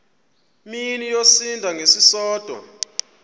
mini yosinda ngesisodwa